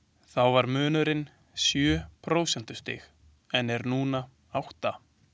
Þá var munurinn sjö prósentustig en er nú átta.